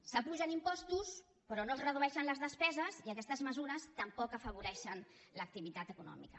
s’apugen impostos però no es redueixen les despeses i aquestes mesures tampoc afavoreixen l’activitat econòmica